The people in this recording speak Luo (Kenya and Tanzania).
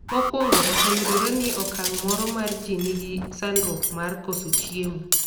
mokwongo oseyudore ni okang' moro mar ji ni gi sandruok mar koso chiemo